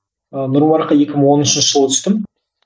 ыыы нұр мүбаракқа екі мың он үшінші жылы түстім